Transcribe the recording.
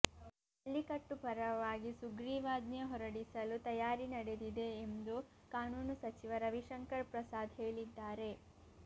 ಜಲ್ಲಿಕಟ್ಟು ಪರವಾಗಿ ಸುಗ್ರೀವಾಜ್ಞೆ ಹೊರಡಿಸಲು ತಯಾರಿ ನಡೆದಿದೆ ಎಂದು ಕಾನೂನು ಸಚಿವ ರವಿಶಂಕರ್ ಪ್ರಸಾದ್ ಹೇಳಿದ್ದಾರೆ